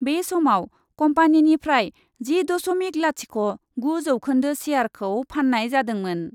बे समाव कम्पानिनिफ्राय जि दशमिक लाथिख' गु जौखोन्दो शेयारखौ फान्नाय जादोंमोन।